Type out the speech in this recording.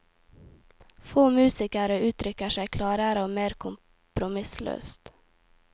Få musikere uttrykker seg klarere og mer kompromissløst.